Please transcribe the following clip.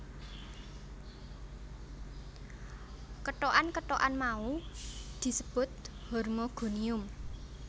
Kethokan kethokan mau disebut hormogonium